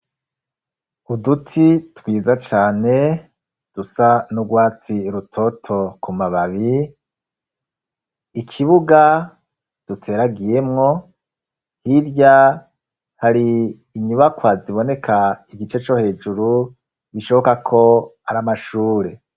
Uduti twiza cane, dusa n'urwatsi rutoto ku mababi, ikibuga duteragiyemo, hirya hari inyubakwa ziboneka igice co hejuru, bishoboka ko ar'amashure.